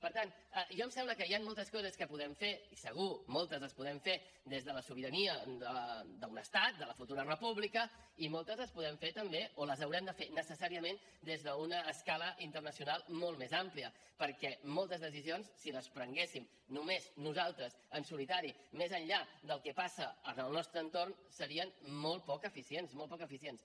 per tant a mi em sembla que hi han moltes coses que podem fer i segur moltes les podem fer des de la sobirania d’un estat de la futura república i moltes les podem fer també o les haurem de fer necessàriament des d’una escala internacional molt més àmplia perquè moltes decisions si les prenguéssim només nosaltres en solitari més enllà del que passa al nostre entorn serien molt poc eficients molt poc eficients